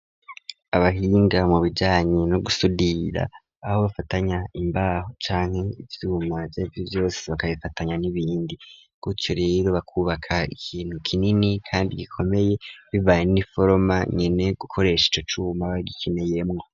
Abahinga mu bijanye no gusudira aho bafatanya imbaho canke ivyuma vyarivyo vyose bakabifatanya n'ibindi gutyo rero bakubaka ikintu kinini kandi gikomeye bibanye n'iforoma nyene gukoreshe ico cuma bagikeneyemwo.